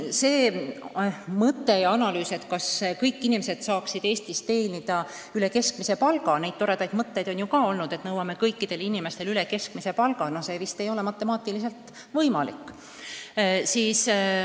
See idee, et vahest kõik inimesed saaksid Eestis teenida üle keskmise palga – neid toredaid mõtteid on ju olnud, et nõuame kõikidele inimestele üle keskmise palga –, no see vist ei ole matemaatiliselt võimalik.